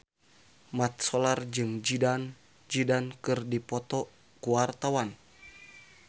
Mat Solar jeung Zidane Zidane keur dipoto ku wartawan